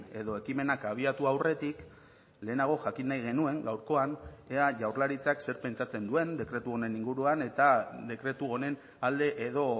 edo ekimenak abiatu aurretik lehenago jakin nahi genuen gaurkoan ea jaurlaritzak zer pentsatzen duen dekretu honen inguruan eta dekretu honen alde edo